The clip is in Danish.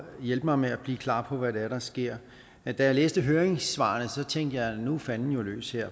hjælpe mig med at blive klar på hvad det er der sker da jeg læste høringssvarene tænkte jeg at nu er fanden løs her